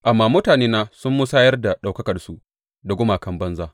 Amma mutanena sun musayar da ɗaukakarsu da gumakan banza.